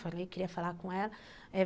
Falei, queria falar com ela.